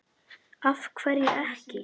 Af hverju ekki?